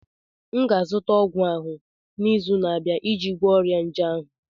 m ga-azụta ọgwụ ahụ n'izu na-abịa iji gwọọ ọrịa nje ahụ